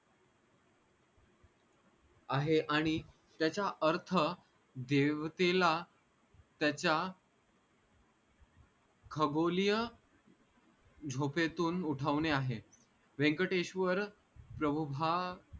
आहे आणि त्याचा अर्थ देवतेला त्याचा खगोलीय झोपेतून उठवने आहे व्यंकटेश्वर